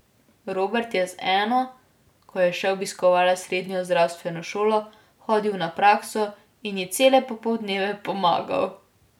Robert je z eno, ko je še obiskovala srednjo zdravstveno šolo, hodil na prakso in ji cele popoldneve pomagal.